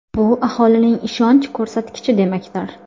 Bu aholining ishonch ko‘rsatkichi demakdir.